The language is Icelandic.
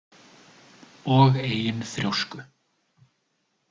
Og eigin þrjósku.